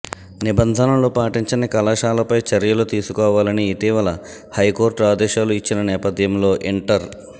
నిబంధనలు పాటించని కళాశాలపై చర్యలు తీసుకోవాలని ఇటీవల హైకోర్టు ఆదేశాలు ఇచ్చిన నేపధ్యంలో ఇంటర్